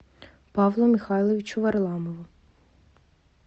павлу михайловичу варламову